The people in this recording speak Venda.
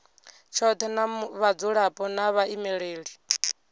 tshothe na vhadzulapo na vhaimeleli